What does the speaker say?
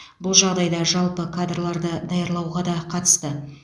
бұл жағдай жалпы кадрларды даярлауға да қатысты